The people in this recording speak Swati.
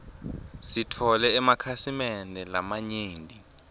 sitfole emakhasimende lamanyenti